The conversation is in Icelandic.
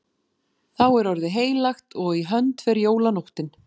Þá er orðið heilagt og í hönd fer jólanóttin.